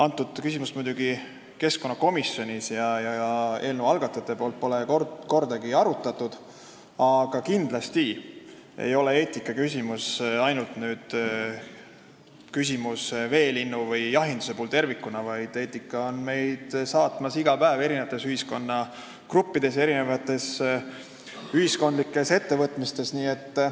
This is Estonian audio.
Seda küsimust ei ole muidugi keskkonnakomisjonis arutatud ja eelnõu algatajad pole seda kordagi arutanud, aga kindlasti ei ole eetikaküsimus ainult küsimus veelindudest või tervikuna jahindusest, vaid eetika saadab meid iga päev eri ühiskonnagruppides ja ühiskondlikes ettevõtmistes.